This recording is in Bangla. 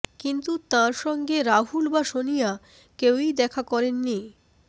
কিন্তু তাঁর সঙ্গে রাহুল বা সোনিয়া কেউই দেখা করেননি